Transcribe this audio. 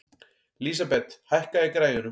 Lísabet, hækkaðu í græjunum.